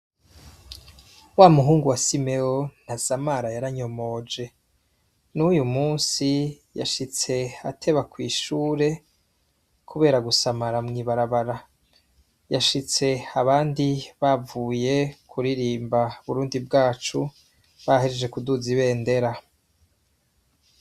Wamuhungu wa simewo ntasamara yaranyomoje, n'uyumusi yashitse ateba kw'ishure kubera gusamara mwibarabara, yashitse abandi bavuye kuririmba Burundi bwacu bahejeje kuduza ibendera.